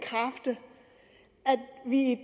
vi i